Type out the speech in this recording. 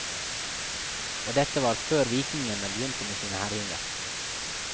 Og dette var før vikingene begynte med sine herjinger.